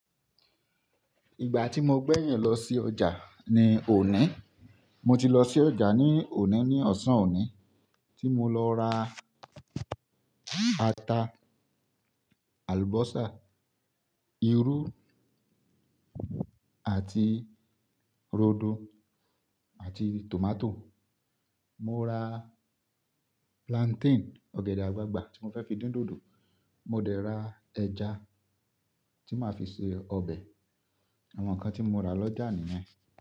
Ìgbà tí mo gbẹ̀yìn lọ sí ọjà ni òní, mo ti lọ sí ọjà ní òní ní ọ̀sán òní tí mo lọ ra ata, àlùbọ́sà, irú àti rodo àti tomato. Mo ra plantain, ọ̀gẹ̀dẹ̀ àgbagbà tí mo fẹ́ fi dín dòdò. Mo dẹ̀ ra ẹja tí màá fi ṣe ọbẹ̀. Àwọn nǹkan tí mo rà lọ́jà nìyẹn.